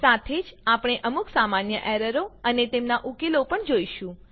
સાથે જ આપણે અમુક સામાન્ય એરરો અને તેમનાં ઉકેલો પણ જોઈશું